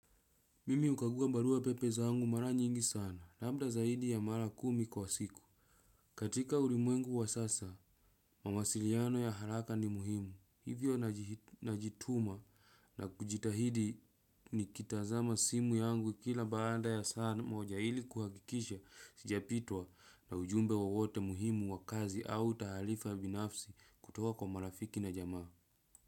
Mimi hukaguwa barua pepe zangu mara nyingi sana, labda zaidi ya mara kumi kwa siku. Katika ulimwengu wa sasa, mawasiriano ya haraka ni muhimu. Hivyo najituma na kujitahidi nikitazama simu yangu kila baanda ya saa moja ili kuhakikisha sijapitwa na ujumbe wowote muhimu wa kazi au tahalifa binafsi kutoka kwa marafiki na jamaa.